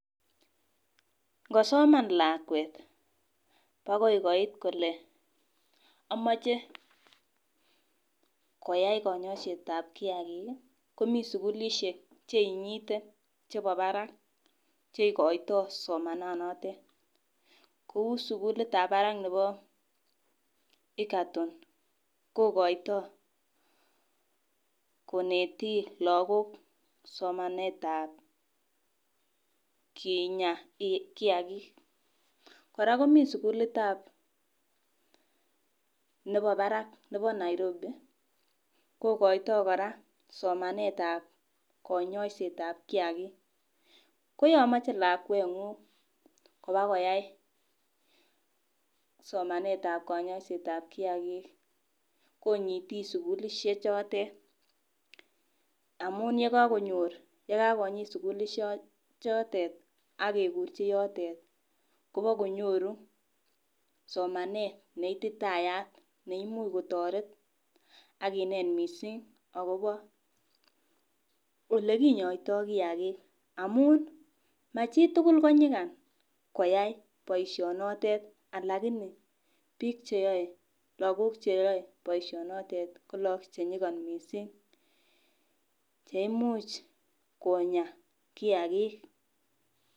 Ng'osoman lakwet bogoi koit kole amoje koyai kanyoiset ab kiagik ii komi sugulisiek cheiny'ite chebo barak cheigoito somananotet, kou sugulit ab barak nebo Egerton kogoito koneti lagok somanet ab kinya kiagik, kora komi sugulitab nebo barak nebo Nairobi kogoito kora somanet ab konyoiset ab kiagik, ko yomoche lakweng'ung kobakoyai somanet aba konyoiset ab kiagik ii, konyiti sugulisie chotet amun yekakonyit sugulisie chotet ak kekurji yotet ii kobakonyoru somanet neititayat neimuch kotoret ak kinet missing akobo olekinyoito kiagik amun mo chitugul ko ny'igan koyai boisionotet alagini biik cheyoe, logok cheyoe boisionotet ko lo-ok konyigan missing cheimuch konya kiagik.